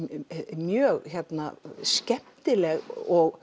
mjög skemmtileg og